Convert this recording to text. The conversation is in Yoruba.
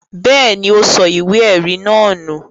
Bẹ́ẹ̀ ni, ó sọ ìwé-ẹ̀rí náà nù.